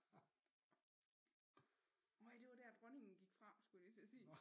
Nej det var der dronningen gik fra skulle jeg lige til at sige